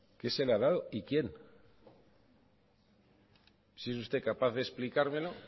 qué se le ha dado y quién si es usted capaz de explicármelo